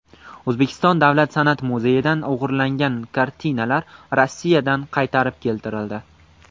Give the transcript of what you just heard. O‘zbekiston Davlat san’at muzeyidan o‘g‘irlangan kartinalar Rossiyadan qaytarib keltirildi.